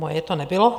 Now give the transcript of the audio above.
Moje to nebylo.